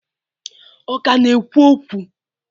Ọ ka na-ekwu okwu?